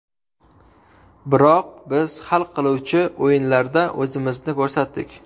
Biroq biz hal qiluvchi o‘yinlarda o‘zimizni ko‘rsatdik.